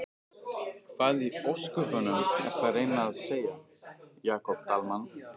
Hvað í ósköpunum ertu að reyna að segja, Jakob Dalmann?